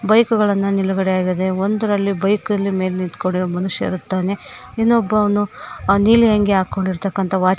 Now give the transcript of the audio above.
Bike ಗಳನ್ನ ನಿಲುಗಡೆಯಾಗಿದೆ ಒಂದರಲ್ಲಿ ಬೈಕ್ ರಲ್ಲಿ ಮೇಲ್ ನಿಂತ್ಕೊಂಡಿರೋ ಮನುಷ್ಯ ಇರುತ್ತಾನೆ ಇನ್ನೊಬ್ಬನು ನೀಲಿ ಅಂಗಿ ಹಾಕ್ಕೊಂಡಿರುವಂತಹ ವಾಚ್ ಮ್ಯಾನ್ .